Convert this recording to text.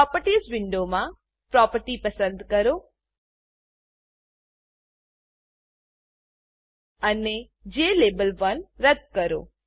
properties properties વિન્ડોમાં property પસંદ કરો અને જ્લાબેલ1 રદ્દ કરો